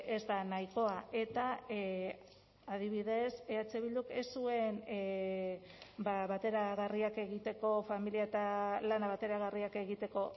ez da nahikoa eta adibidez eh bilduk ez zuen bateragarriak egiteko familia eta lana bateragarriak egiteko